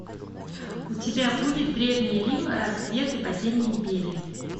у тебя будет древний рим рассвет и падение империи